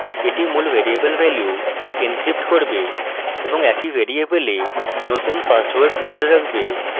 এটি মূল variable value encrypt করবে এবং একই ভ্যারিয়েবলে নতুন পাসওয়ার্ড code রাখবে